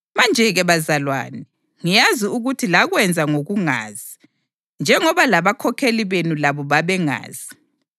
Manje-ke bazalwane, ngiyazi ukuthi lakwenza ngokungazi, njengoba labakhokheli benu labo babengazi.